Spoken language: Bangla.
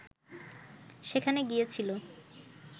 সেখানে গিয়েছিল